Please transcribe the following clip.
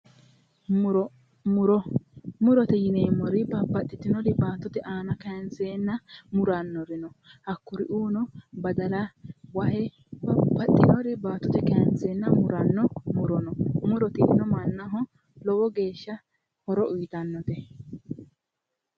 Muro, murote yineemmoti baattote giddo kaanseenna murannorino hakkuriuuno badala, wahe babbaxitewooti baattote kaanseenna muranno, muro tinino mannaho lowo geeshsha horo uuyitannote.